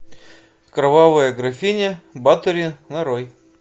кровавая графиня батори нарой